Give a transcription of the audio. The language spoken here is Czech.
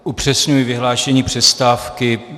Upřesňuji vyhlášení přestávky.